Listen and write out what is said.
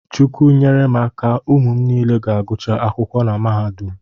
Chukwu nyere m aka, ụmụ niile ga-agụcha akwụkwọ na mahadum